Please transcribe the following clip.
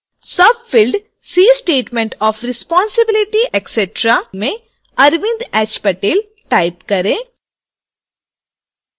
field c statement of responsibility etc में arvind h patel type करें